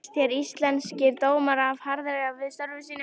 Finnst þér Íslenskir dómarar of harðir við störf sín?